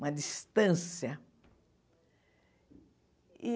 Uma distância.